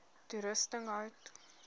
toerusting hout